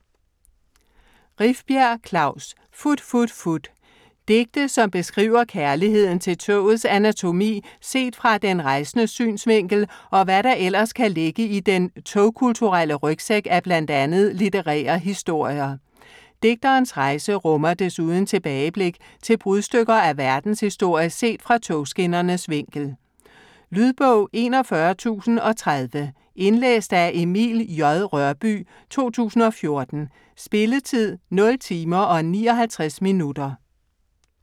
Rifbjerg, Klaus: Fut fut fut Digte som beskriver kærligheden til togets anatomi set fra den rejsendes synsvinkel og hvad der ellers kan ligge i den tog-kulturelle rygsæk af bl.a. litterære historier. Digterens rejse rummer desuden tilbageblik til brudstykker af verdens historie set fra togskinnernes vinkel. Lydbog 41030 Indlæst af Emil J. Rørbye, 2014. Spilletid: 0 timer, 59 minutter.